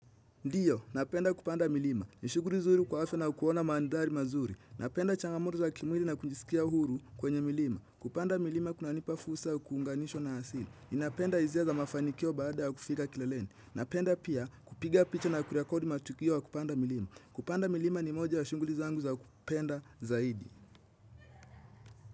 Ndiyo, napenda kupanda milima. Ni shughuli nzuri kwa hafe na kuona mandhari mazuri. Napenda changamoto za kimwili na kujisikia huru kwenye milima. Kupanda milima kunanipa fursa ya kuunganishwa na asili. Inapenda hisia za mafanikio baada ya kufika kileleni. Napenda pia kupiga picha na kurekodi matukio ya kupanda milima. Kupanda milima ni moja ya shughuli zangu za kupenda zaidi.